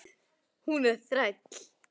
Hún er þræll.